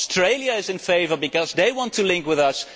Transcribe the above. Australia is in favour because they want to link with us